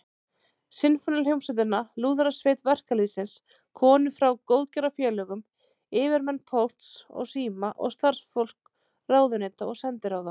Sinfóníuhljómsveitina, Lúðrasveit verkalýðsins, konur frá góðgerðarfélögum, yfirmenn Pósts og síma og starfsfólk ráðuneyta og sendiráða.